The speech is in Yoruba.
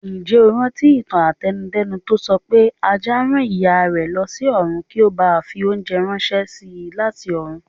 Ǹjẹ́ o rántí ìtàn àtẹnu-dẹ́nu tó sọpé Ajá rán Ìyárẹ̀ lọsí ọ̀run kí ó bàa fi oúnjẹ ránṣési láti ọ̀run.